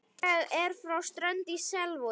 Ég er frá Strönd í Selvogi.